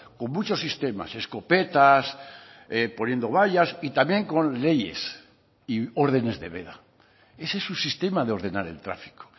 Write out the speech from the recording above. con muchos sistemas escopetas poniendo vallas y también con leyes y órdenes de veda ese es su sistema de ordenar el tráfico